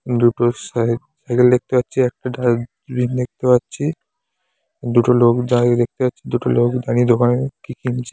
দুটো সাই-কেল দেখতে পাচ্ছি একটা ডাস্ট-বিন দেখতে পাচ্ছি দুটো লোক দাঁড়িয়ে দেখতে পাচ্ছ-- । দুটো লোক দাঁড়িয়ে দোকানে কি কিনছে।